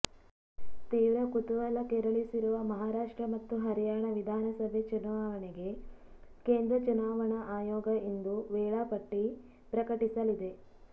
ತೀವ್ರ ಕುತೂಹಲ ಕೆರಳಿಸಿರುವ ಮಹಾರಾಷ್ಟ್ರ ಮತ್ತು ಹರಿಯಾಣ ವಿಧಾನಸಭೆ ಚುನಾವಣೆಗೆ ಕೇಂದ್ರ ಚುನಾವಣಾ ಆಯೋಗ ಇಂದು ವೇಳಾಪಟ್ಟಿ ಪ್ರಕಟಿಸಲಿದೆ